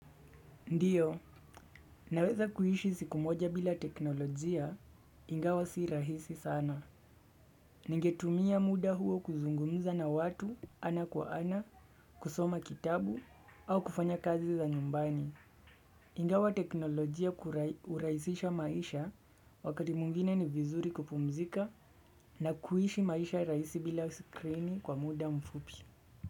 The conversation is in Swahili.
Ndiyo, naweza kuishi siku moja bila teknolojia, ingawa si rahisi sana. Ningetumia muda huo kuzungumuza na watu ana kwa ana, kusoma kitabu, au kufanya kazi za nyumbani. Ingawa teknolojia urahisisha maisha wakati mwingine ni vizuri kupumzika na kuishi maisha rahisi bila skrini kwa muda mfupi.